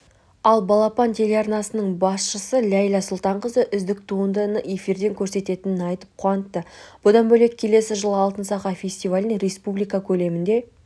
ал балапан телеарнасының басшысы ләйла сұлтанқызы үздік туындыны эфирден көрсететінін айтып қуантты бұдан бөлек келесі жылы алтын сақа фестивалін республика көлемінде